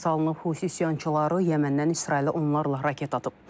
Hus isyançıları Yəməndən İsrailə onlarla raket atıb.